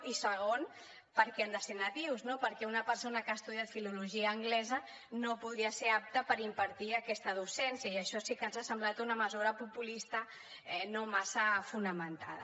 i segon per què han de ser nadius perquè una persona que ha estudiat filologia anglesa no podria ser apta per impartir aquesta docència i això sí que ens ha semblat una mesura populista no massa fonamentada